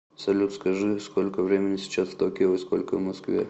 салют скажи сколько времени сейчас в токио и сколько в москве